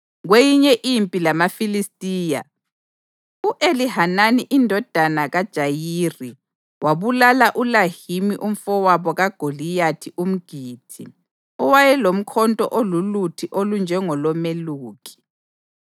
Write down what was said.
Kweyinye impi lamaFilistiya, u-Elihanani indodana kaJayiri wabulala uLahimi umfowabo kaGoliyathi umGithi, owayelomkhonto ololuthi olunjengolomeluki.